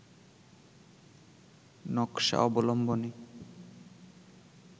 নকশা অবলম্বনে